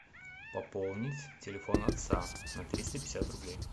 пополнить телефон отца на триста пятьдесят рублей